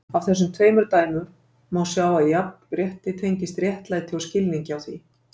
Af þessum tveimur dæmum má sjá að jafnrétti tengist réttlæti og skilningi á því.